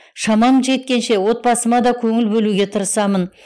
шамам жеткенше отбасыма да көңіл бөлуге тырысамын